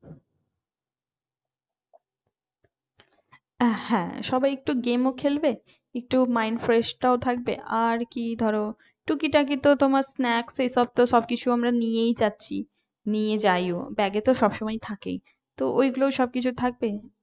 হ্যাঁ সবাই একটু game ও খেলবে একটু mind fresh টাও থাকবে আর কি ধরো টুকিটাকি তো তোমার snacks এসব তো সব কিছু আমরা নিয়েই যাচ্ছি নিয়ে যাইও ব্যাগে তো সবসময় থাকে।